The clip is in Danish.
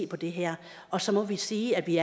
på det her og så må vi sige at vi